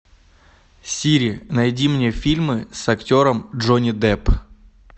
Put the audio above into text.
сири найди мне фильмы с актером джонни депп